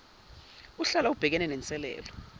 uhlala ubhekene nenselelo